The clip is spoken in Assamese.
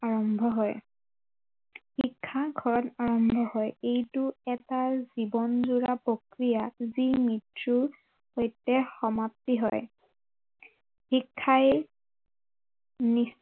আৰম্ভ হয়, শিক্ষা ঘৰত আৰম্ভ হয় এইটো এটা জীৱনজোৰা প্ৰক্ৰিয়া যি মৃত্য়ুৰ সৈতে সমাপ্তি হয়, শিক্ষাই